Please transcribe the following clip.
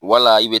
Wala i bi